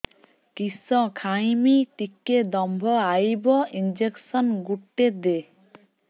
କିସ ଖାଇମି ଟିକେ ଦମ୍ଭ ଆଇବ ଇଞ୍ଜେକସନ ଗୁଟେ ଦେ